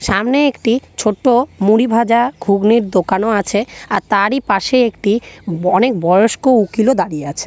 সামনে একটি ছোট মুড়ি ভাজা ঘুগনির দোকানও আছে। আর তারই পাশে একটি অনেক বয়স্ক উকিল ও দাঁড়িয়ে আছে।